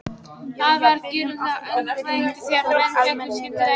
Það varð gífurlegt öngþveiti þegar menn féllu skyndilega í gólfið.